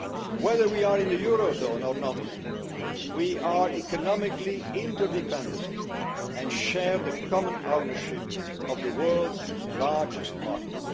Whether we are in the eurozone or not, we are economically interdependent and share the common ownership of the world's largest market.